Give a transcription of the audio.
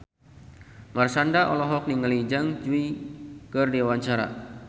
Marshanda olohok ningali Zhang Yuqi keur diwawancara